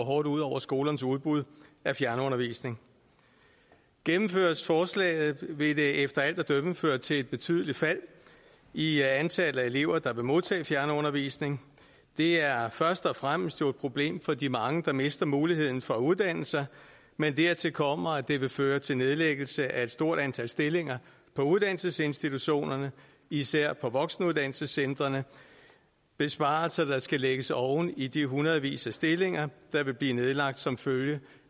hårdt ud over skolernes udbud af fjernundervisning gennemføres forslaget vil det efter alt at dømme føre til et betydeligt fald i antallet af elever der vil modtage fjernundervisning det er jo først og fremmest et problem for de mange der mister muligheden for at uddanne sig men dertil kommer at det vil føre til nedlæggelse af et stort antal stillinger på uddannelsesinstitutionerne især på voksenuddannelsescentrene besparelser der skal lægges oven i de hundredvis af stillinger der vil blive nedlagt som følge